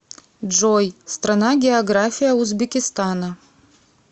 джой страна география узбекистана